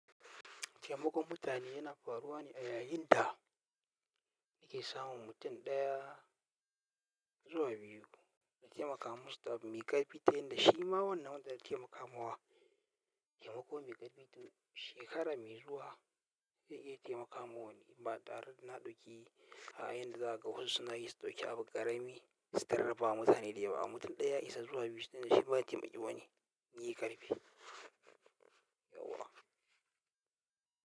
Taimakon mutane yana faruwa ne a yayin da nake samun mutum ɗaya zuwa biyu na taimaka mu su da abu mai ƙarfi ta yanda shi ma wannan wanda na taimakawa da abu mai ƙarfi to shekara mai zuwa zai iya taimaka wa wani ba tare da na ɗauki a yayinda za a ga wasu suna yi su ɗauki abu ƙarami su tallafawa mutane da yawa. Mutum ɗaya ya isa zuwa biyu sanda shi ma taimaki wani yayi ƙarfi.